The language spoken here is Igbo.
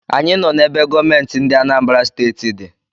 Anyị nọ n’ebe gọọmenti ndị Anambra Steeti di